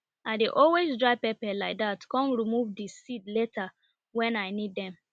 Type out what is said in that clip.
i dey always dry pepper like that com remove di seed later wen i need dem